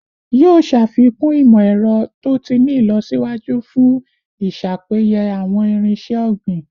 Yoo ṣafikun imọ-ẹrọ to ti ni ilọsiwaju fun iṣapeye awọn irinṣẹ ogbin